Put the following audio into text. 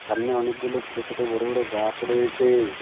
সামনে অনেকগুলো ছোট ছোট বড় বড় গাস রয়েছে।